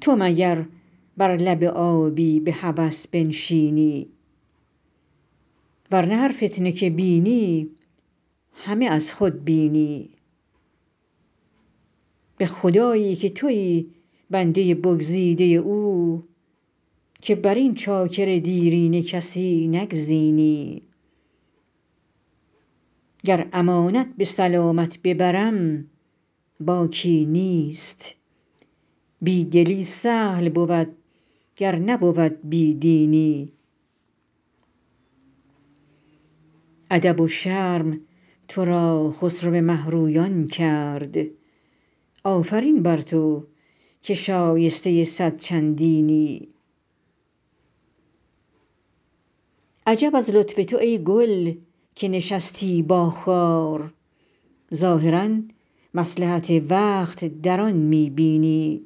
تو مگر بر لب آبی به هوس بنشینی ور نه هر فتنه که بینی همه از خود بینی به خدایی که تویی بنده بگزیده او که بر این چاکر دیرینه کسی نگزینی گر امانت به سلامت ببرم باکی نیست بی دلی سهل بود گر نبود بی دینی ادب و شرم تو را خسرو مه رویان کرد آفرین بر تو که شایسته صد چندینی عجب از لطف تو ای گل که نشستی با خار ظاهرا مصلحت وقت در آن می بینی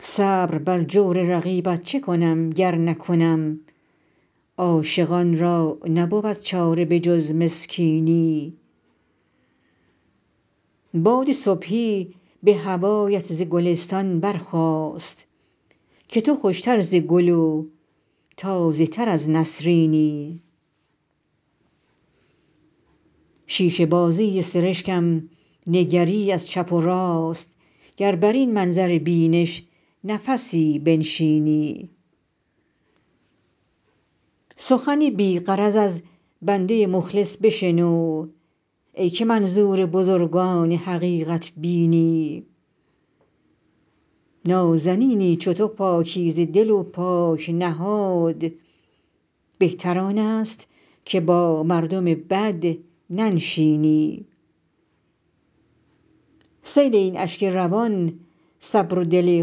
صبر بر جور رقیبت چه کنم گر نکنم عاشقان را نبود چاره به جز مسکینی باد صبحی به هوایت ز گلستان برخاست که تو خوش تر ز گل و تازه تر از نسرینی شیشه بازی سرشکم نگری از چپ و راست گر بر این منظر بینش نفسی بنشینی سخنی بی غرض از بنده مخلص بشنو ای که منظور بزرگان حقیقت بینی نازنینی چو تو پاکیزه دل و پاک نهاد بهتر آن است که با مردم بد ننشینی سیل این اشک روان صبر و دل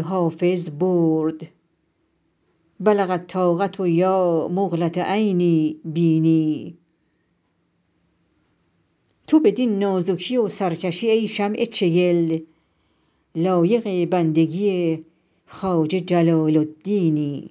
حافظ برد بلغ الطاقة یا مقلة عینی بیني تو بدین نازکی و سرکشی ای شمع چگل لایق بندگی خواجه جلال الدینی